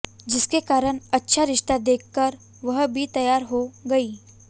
जिसके कारण अच्छा रिश्ता देखकर वह भी तैयार हो गई